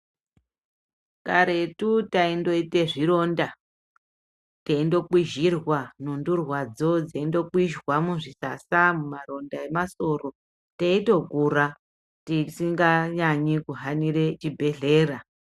Karetu taindoita zvironda teindokwizhirwa nhundurwadzo. Dzeindokwinzwa muzvisasa mumaronda emasoro teitokura tisinganyanyi kuhanira chibhedhlera.